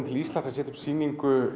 til Íslands að setja upp sýningu